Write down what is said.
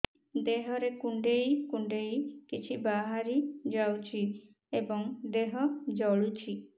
ଦେହରେ କୁଣ୍ଡେଇ କୁଣ୍ଡେଇ କିଛି ବାହାରି ଯାଉଛି ଏବଂ ଦେହ ଜଳୁଛି